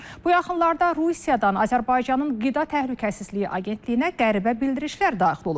Bu yaxınlarda Rusiyadan Azərbaycanın qida təhlükəsizliyi agentliyinə qəribə bildirişlər daxil olub.